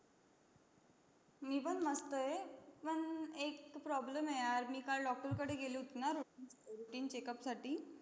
मी पण मस्त आहे. पण एक problem आहे यार. मी काल doctor कडे गेले होते ना routine checkup साठी,